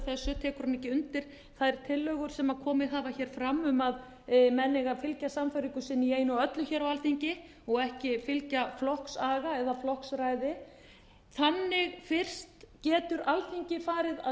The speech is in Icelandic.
þessu tekur hann ekki undir þær tillögur sem komið hafa hér fram um að menn eigi að fylgja sannfæringu sinni í einu og öllu hér á alþingi og ekki fylgja flokksaga eða flokksræði þannig fyrst getur alþingi farið að